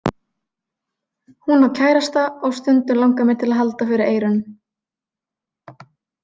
Hún á kærasta og stundum langar mig til að halda fyrir eyrun.